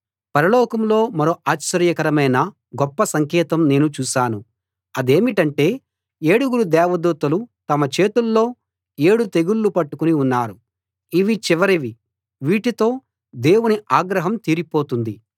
పరలోకంలో మరో ఆశ్చర్యకరమైన గొప్ప సంకేతం నేను చూశాను అదేమిటంటే ఏడుగురు దేవదూతలు తమ చేతుల్లో ఏడు తెగుళ్ళు పట్టుకుని ఉన్నారు ఇవి చివరివి వీటితో దేవుని ఆగ్రహం తీరిపోతుంది